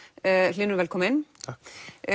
hlynur velkominn takk